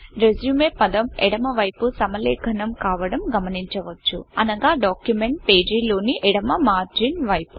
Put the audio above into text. resume పదం ఎడమ వైపు సమలేఖనం కావడం గమనించవచ్చు అనగా డాక్యుమెంట్ పేజీ లోని ఎడమ మార్జిన్ వైపు